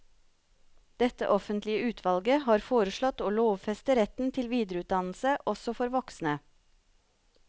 Dette offentlige utvalget har foreslått å lovfeste retten til videreutdannelse også for voksne.